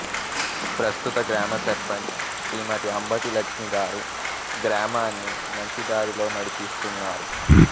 ప్రస్తుత గ్రామ సర్పెంచ్ శ్రీమతి అంబటి లక్ష్మి గారు గ్రామాన్ని మంచి దారిలో నడిపిస్తునారు